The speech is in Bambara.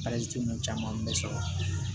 caman bɛ sɔrɔ